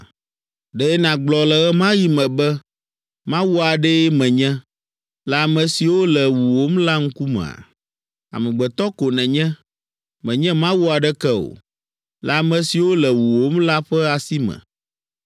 Ɖe nàgblɔ le ɣe ma ɣi me be, ‘Mawu aɖee menye’ le ame siwo le wuwòm la ŋkumea? Amegbetɔ ko nènye, mènye mawu aɖeke o, le ame siwo le wuwòm la ƒe asi me.